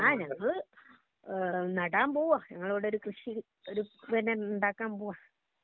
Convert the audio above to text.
ആ ഞങ്ങള് നടാൻ പോവാ ഞങ്ങള് ഇവിടെ ഒരു കൃഷി ഒരു ഉണ്ടാക്കാൻ പോവാ